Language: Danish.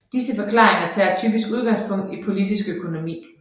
Disse forklaringer tager typisk udgangspunkt i politisk økonomi